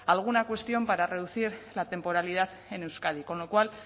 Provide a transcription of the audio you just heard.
alguna cuestión para reducir la temporalidad en euskadi con lo cual